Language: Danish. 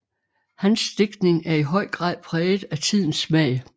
Hans digtning er i høj grad præget af tidens smag